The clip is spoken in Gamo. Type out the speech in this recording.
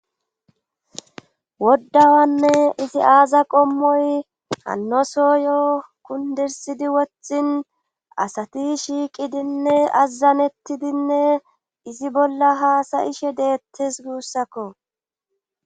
Woddawanne izi aaza qommoy anoso yoo kundirsidi wothin asati shiiqidinne azazanettidinne izi bolla haasayishe deettes guussakko.